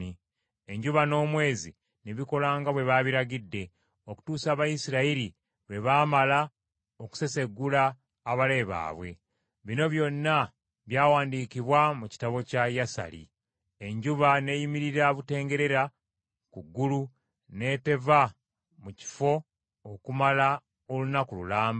Enjuba n’omwezi ne bikola nga bwe babiragidde okutuusa Abayisirayiri lwe baamala okuseseggula abalabe baabwe. Bino byonna byawandiikibwa mu kitabo kya Yasali. Enjuba n’eyimirira butengerera ku ggulu n’eteva mu kifo okumala olunaku lulamba.